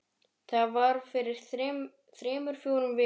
Það var fyrir þremur fjórum vikum